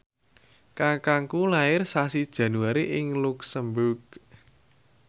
kakangku lair sasi Januari ing luxemburg